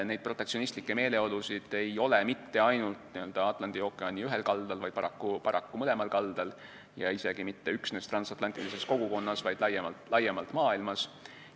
Neid protektsionistlikke meeleolusid ei ole mitte ainult Atlandi ookeani ühel kaldal, vaid paraku mõlemal kaldal ja isegi mitte üksnes transatlantilises kogukonnas, vaid laiemalt maailmas.